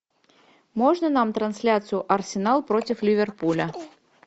можно нам трансляцию арсенал против ливерпуля